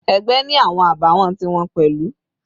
Ẹgbẹ́ ni awọn àbàwọ́n ti wọn pẹ̀lú.